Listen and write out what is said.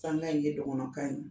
in ye dɔgɔnɔkan ye